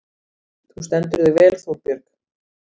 Þú stendur þig vel, Þórbjörg!